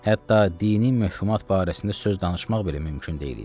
Hətta dini məfhumat barəsində söz danışmaq belə mümkün deyil idi.